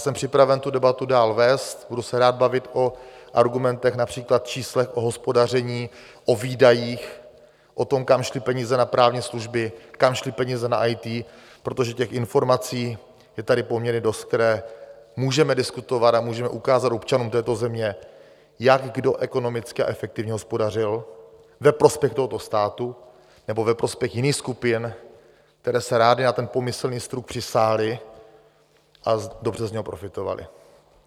Jsem připraven tu debatu dál vést, budu se rád bavit o argumentech, například číslech o hospodaření, o výdajích, o tom, kam šly peníze na právní služby, kam šly peníze na IT, protože těch informací je tady poměrně dost, které můžeme diskutovat, a můžeme ukázat občanům této země, jak kdo ekonomicky a efektivně hospodařil ve prospěch tohoto státu nebo ve prospěch jiných skupin, které se rády na ten pomyslný struk přisály a dobře z něho profitovaly.